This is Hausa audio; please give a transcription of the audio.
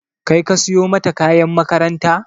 Kai ka siyo mata kayan makaranta?